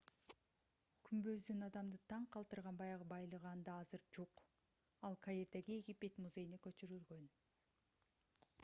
күмбөздүн адамды таң калтырган баягы байлыгы анда азыр жок ал каирдеги египет музейине көчүрүлгөн